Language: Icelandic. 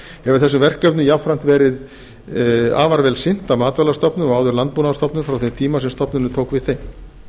hefur þessum verkefnum jafnframt verið afar vel sinnt af matvælastofnun og áður landbúnaðarstofnun frá þeim tíma sem stofnunin tók við þeim